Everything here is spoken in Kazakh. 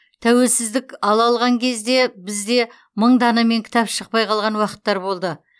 тәуелсіздік ала қалған кезде бізде мың данамен кітап шықпай қалған уақыттар болды